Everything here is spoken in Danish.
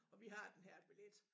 Og vi har den her billet